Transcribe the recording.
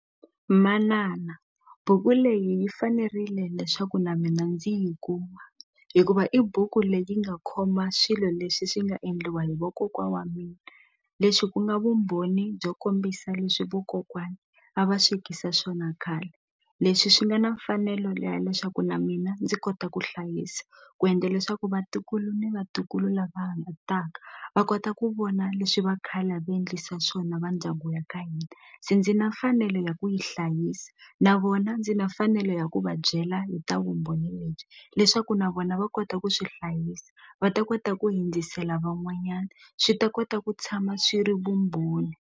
Manana buku leyi yi fanerile leswaku na mina ndzi yi kuma hikuva i buku leyi nga khoma swilo leswi swi nga endliwa hi vokokwa wa mina leswi ku nga vumbhoni byo kombisa leswi vokokwani a va swekisa swona khale leswi swi nga na mfanelo ya leswaku na mina ndzi kota ku hlayisa ku endla leswaku vatukulu ni vatukulu lava va kota ku vona leswi va khale a va endlisa swona va ndyangu wa ka hina se ndzi na mfanelo ndlela ya ku yi hlayisa na vona ndzi na mfanelo ya ku va byela hi ta vumbhoni lebyi leswaku na vona va kota ku swi hlayisa va ta kota ku hundzisela van'wanyana swi ta kota ku tshama swi ri vumbhoni.